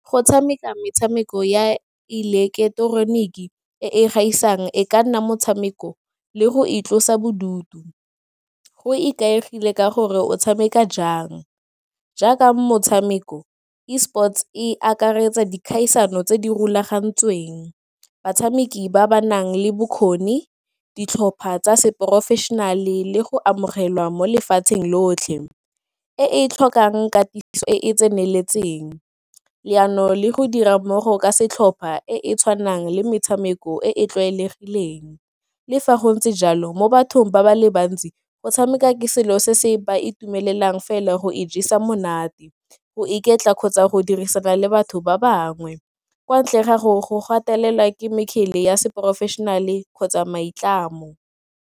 Go tshameka metshameko ya ileketeroniki e e gaisang e ka nna motshameko le go itlosa bodutu go ikaegile ka gore o tshameka jaaka motshameko E sports e akaretsa dikgaisano tse di rulagantsweng batshameki ba ba nang le bokgoni, ditlhopha tsa se professional le go amogelwa mo lefatsheng lotlhe e e tlhokang katiso e e tseneletseng, leano le go dira mmogo ka setlhopa e e tshwanang le metshameko e e tlwaelegileng. Le fa go ntse jalo mo bathong ba ba le bantsi go tshameka ke selo se se ba itumelela fela go ijesa monate, go iketla kgotsa go dirisana le batho ba bangwe kwa ntleng ga gore go gatelela ke mekgele ya se-professional-e kgotsa maitlamo.